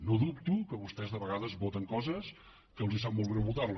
no dubto que vostès de vegades voten coses que els sap molt greu votar les